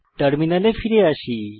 টার্মিনালে ফিরে আসি